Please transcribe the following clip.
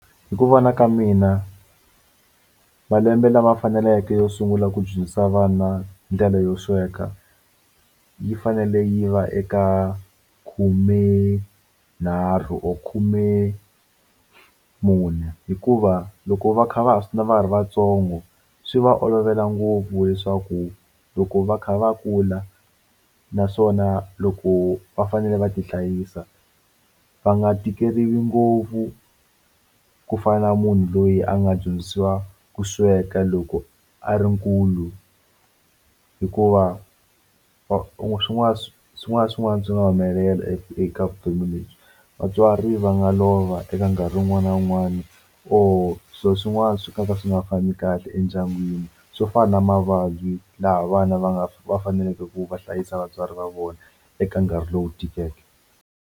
Hi ku vona ka mina malembe lama faneleke yo sungula ku dyondzisa vana ndlela yo sweka yi fanele yi va eka khumenharhu or khumemune hikuva loko va kha va va ha ri vatsongo swi va olovela ngopfu leswaku loko va kha va kula naswona loko va fanele va ti hlayisa va nga tikeriwi ngopfu ku fana na munhu loyi a nga dyondzisiwa ku sweka loko a ri nkulu hikuva or swin'wana na swin'wana na swin'wana swi nga humelela eka vutomi lebyi vatswari va nga lova eka nkarhi wun'wani na wun'wani or swilo swin'wana swi nga ka swi nga fambi kahle endyangwini swo fana na mavabyi laha vana va nga va faneleke ku va hlayisa vatswari va vona eka nkarhi lowu tikeke.